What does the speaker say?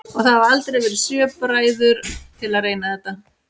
Og það hafa aldrei verið sjö bræður til að reyna þetta?